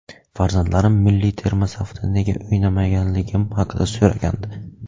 Farzandlarim milliy terma safida nega o‘ynamaganligim haqida so‘ragandi.